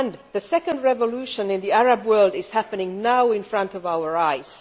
The second revolution in the Arab world is happening now in front of our eyes.